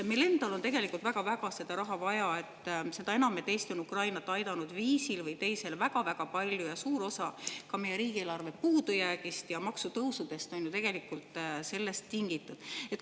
Meil endal on tegelikult väga-väga seda raha vaja, seda enam, et Eesti on Ukrainat aidanud viisil või teisel väga-väga palju ja suur osa ka meie riigieelarve puudujäägist ja maksutõusudest on ju tegelikult sellest tingitud.